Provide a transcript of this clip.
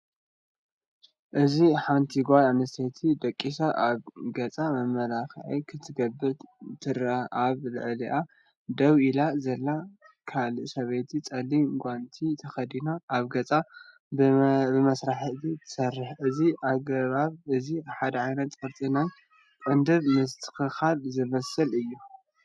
ኣብዚ ሓንቲ ጓል ኣንስተይቲ ደቂሳ ኣብ ገጻ መመላኽዒ ክትገብር ትርአ። ኣብ ልዕሊኣ ደው ኢላ ዘላ ካልእ ሰበይቲ ጸሊም ጓንቲ ተኸዲና ኣብ ገጻ ብመሳርሒ ትሰርሕ። እዚ ኣገባብ እዚ ሓደ ዓይነት ቅርጺ ናይ ቅንድብ ምስትክካል ዝመስል እዩ።